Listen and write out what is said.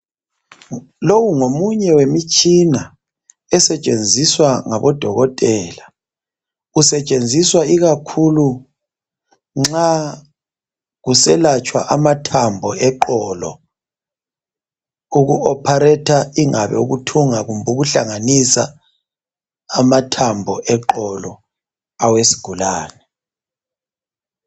Lowo ngomunye wemtshina osetshenziswa ngabodokotela usetshenziswa ikakhulu nxa uselatshwa amathambo eqolo okuoparator ingabe ukuthunga kumbe ukuhlanganisa amathambo eqolo awesigulani